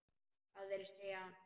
Aðrir segja annað.